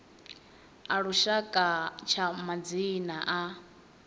a lushaka tsha madzina a